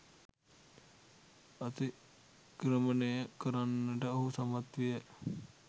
අතික්‍රමණය කරන්නට ඔහු සමත් විය